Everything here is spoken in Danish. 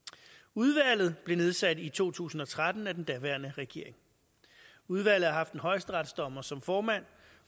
udvalget blev nedsat i to tusind og tretten af den daværende regering udvalget har haft en højesteretsdommer som formand